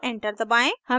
हमें आउटपुट मिलता है